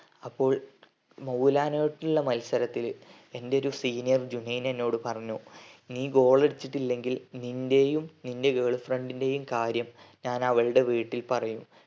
അപ്പോൾ മൗലാനാ ആയിട്ടുമുള്ള മത്സരത്തില് എന്റെയൊരു senior ജൂനൈൻ എന്നോട് പറഞ്ഞു നെ goal അടിച്ചിട്ടില്ലെങ്കിൽ നിന്റെയും നിന്റെ girl friend നെയ്‌മ കാര്യം ഞാൻ അവളുടെ വീട്ടിൽ പറയും